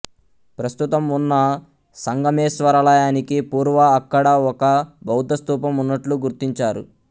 ప్రస్తుతం ఉన్న సంగమేశ్వరాలయానికి పూర్వ అక్కడ ఒక బౌద్ధస్థూపం ఉన్నట్లు గుర్తించారు